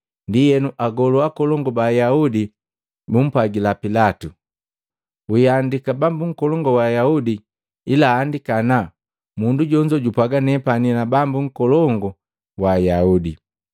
Ndienu Agolu Akolongu ba Ayaudi bumpwagila Pilatu, “Wiihandika, ‘Bambu Nkolongu wa Ayaudi, ila andika ana, mundu jonzo japwaaga, nepani na Bambu Nkolongu wa Ayaudi.’ ”